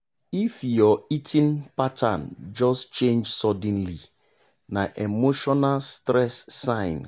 if your eating pattern just change suddenly na emotional stress sign.